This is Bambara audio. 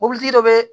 Mobilitigi dɔ bɛ